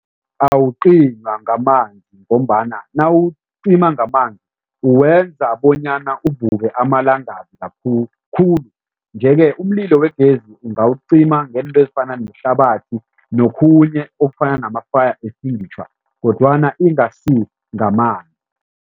Awucinywa ngamanzi ngombana nawucima ngamanzi uwenza bonyana uvuke amalangabi khulu nje-ke umlilo wegezi ungawucima ngento ezifana nehlabathi nokhunye okufana nama-fire extinguisher kodwana ingasi ngamanzi.